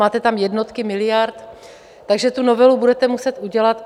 Máte tam jednotky miliard, takže tu novelu budete muset udělat.